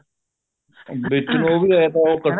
ਵਿੱਚ ਲੋਕ ਐਂ ਤਾਂ ਉਹ ਇਕੱਠੇ